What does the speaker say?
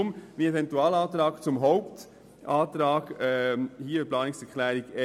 Deshalb mache ich diesen Eventualantrag zum Hauptantrag der Planungserklärung 1.